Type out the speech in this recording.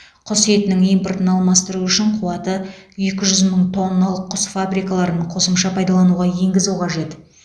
құс етінің импортын алмастыру үшін қуатыекі жүз мың тонналық құс фабрикаларын қосымша пайдалануға енгізу қажет